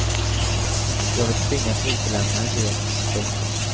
Du har väl tvingats utelämna en del. punkt